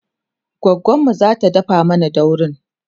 goggonmu zata dafa mana daurin